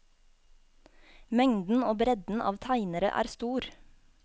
Mengden og bredden av tegnere er stor.